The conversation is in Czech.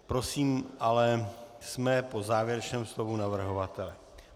Prosím ale, jsme po závěrečném slovu navrhovatele.